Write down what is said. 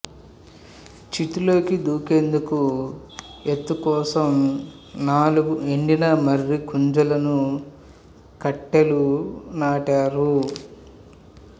చితిలోకి దూకేందుకు ఎత్తుకోసం నాలుగు ఎండిన మర్రి గుంజలను కట్టెలు నాటారు